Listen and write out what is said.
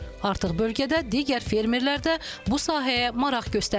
Artıq bölgədə digər fermerlər də bu sahəyə maraq göstərirlər.